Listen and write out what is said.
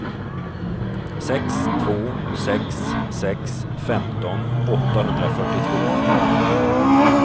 sex två sex sex femton åttahundrafyrtiotvå